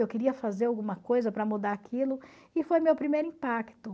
Eu queria fazer alguma coisa para mudar aquilo e foi meu primeiro impacto.